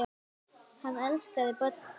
Hann elskaði börn.